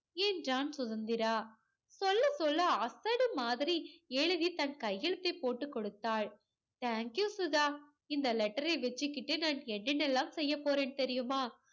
என்றான் சுதந்திரா. சொல்ல சொல்ல அசடு மாதிரி எழுதி தன் கையெழுத்தைப் போட்டு கொடுத்தாள். thank you சுதா இந்த letter ஐ வச்சுக்கிட்டு நான் என்னென்னவெல்லாம் செய்யப் போறேன் தெரியுமா